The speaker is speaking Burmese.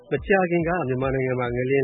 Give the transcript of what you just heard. မကြာခင်က မြန်မာနိုင်ငံမှာ ငလျင်